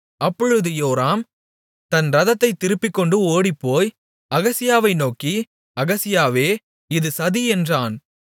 அப்பொழுது யோராம் தன் இரதத்தைத் திருப்பிக்கொண்டு ஓடிப்போய் அகசியாவை நோக்கி அகசியாவே இது சதி என்றான்